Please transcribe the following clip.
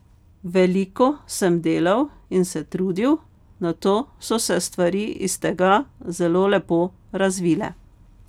Veliko sem delal in se trudil, nato so se stvari iz tega zelo lepo razvile.